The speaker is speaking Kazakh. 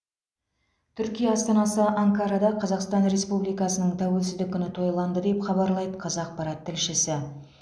түркия астанасы анкарада қазақстан республикасының тәуелсіздік күні тойланды деп хабарлайды қазақпарат тілшісі